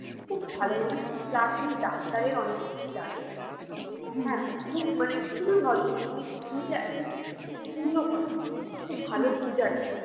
খুব ভালো মানুষ plus উনি ডাক্তারের অনেক কিছু জানেন খুব মানে খুবই ভদ্র মানে উনি যে একজন পুজো করেন খুব ভালো পূজারি